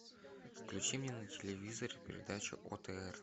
включи мне на телевизоре передачу отр